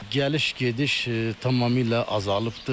Gəliş gediş tamamilə azalıbdır.